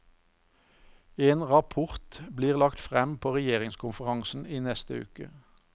En rapport blir lagt frem på regjeringskonferansen i neste uke.